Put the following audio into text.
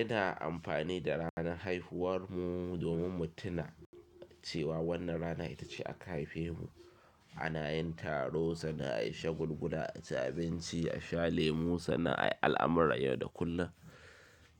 Ina amfani da ranar haihuwar mu domin mu tuna cewa wannan ranar ita ce aka haife mu. Ana yin taro, sannan ayi shagulgula, ci abinci, a sha lemu, suna al'amurra yau da kullum.